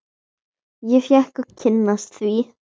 Ég fékk að kynnast því.